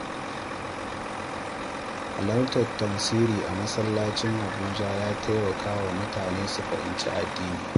Halartar tafsiri a masallacin Abuja yana taimaka wa mutane su fahimci addini.